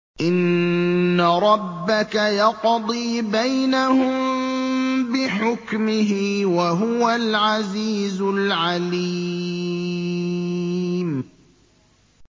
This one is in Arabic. إِنَّ رَبَّكَ يَقْضِي بَيْنَهُم بِحُكْمِهِ ۚ وَهُوَ الْعَزِيزُ الْعَلِيمُ